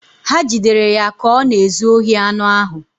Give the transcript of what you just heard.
Ha jidere ya ka ọ na-ezu ohi anụ ahụ